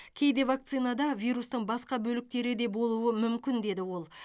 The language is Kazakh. кейде вакцинада вирустың басқа бөліктері де болуы мүмкін деді ол